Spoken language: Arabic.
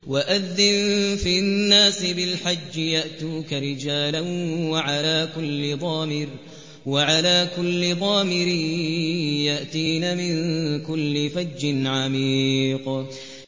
وَأَذِّن فِي النَّاسِ بِالْحَجِّ يَأْتُوكَ رِجَالًا وَعَلَىٰ كُلِّ ضَامِرٍ يَأْتِينَ مِن كُلِّ فَجٍّ عَمِيقٍ